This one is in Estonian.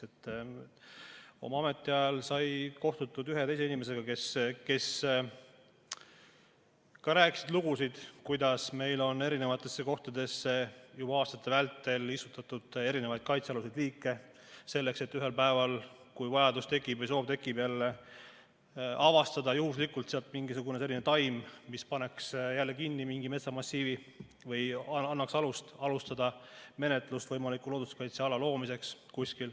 Oma ametiajal kohtusin ühe või teise inimesega, kes rääkisid lugusid, kuidas meil on erinevatesse kohtadesse juba aastate vältel istutatud kaitsealuseid liike, selleks et ühel päeval, kui vajadus või soov tekib, avastada juhuslikult sealt mingisugune selline taim, mis paneks kinni mingi metsamassiivi või annaks alust alustada menetlust võimaliku looduskaitseala loomiseks.